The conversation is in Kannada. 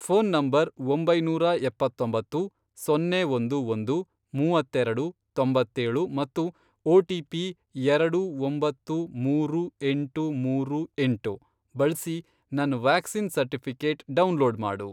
ಫ಼ೋನ್ ನಂಬರ್, ಒಂಬೈನೂರಾ ಎಪ್ಪತ್ತೊಂಬತ್ತು, ಸೊನ್ನೆ ಒಂದು ಒಂದು, ಮೂವತ್ತೆರೆಡು, ತೊಂಬತ್ತೇಳು, ಮತ್ತು ಒಟಿಪಿ, ಎರಡು, ಒಂಬತ್ತು, ಮೂರು, ಎಂಟು, ಮೂರು, ಎಂಟು, ಬಳ್ಸಿ ನನ್ ವ್ಯಾಕ್ಸಿನ್ ಸರ್ಟಿಫಿ಼ಕೇಟ್ ಡೌನ್ಲೋಡ್ ಮಾಡು.